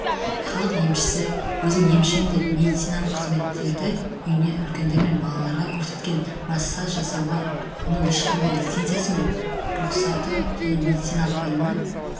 халық емшісі өзін емшімін деп медициналық қызметтерді үйінде үлкендер мен балаларға көрсеткен массаж жасауға оның ешқандай лицензиясымен рұқсаты және медициналық білімі